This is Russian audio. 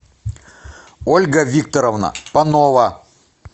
ольга викторовна панова